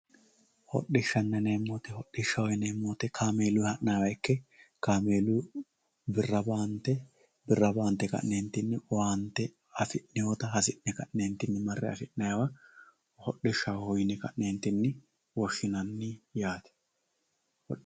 Hodhishanna yineemo woyite hodhishaho yineemo woyite kaamelunni hananiwa ikke kameeluni birra baante birra baante ka'neenti owaante afidhewotta hasine ka'ne mare afinayiwa hodhishaho yine ka'neentinni woshinayi yaate